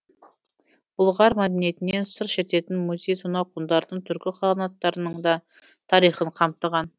бұлғар мәдениетінен сыр шертетін музей сонау ғұндардың түркі қағанаттарының да тарихын қамтыған